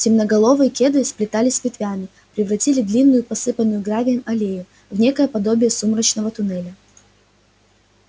темноголовые кедры сплетаясь ветвями превратили длинную посыпанную гравием аллею в некое подобие сумрачного туннеля